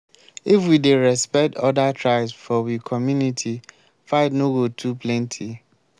if we dey respect other tribes for we community fight no go too plenty.